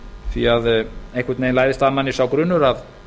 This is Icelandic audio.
því að einhvern veginn læðist að manni sá grunur að